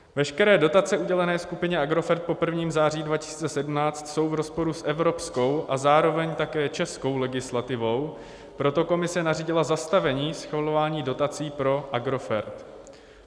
Veškeré dotace udělené skupině Agrofert po 1. září 2017 jsou v rozporu s evropskou a zároveň také českou legislativou, proto Komise nařídila zastavení schvalování dotací pro Agrofert.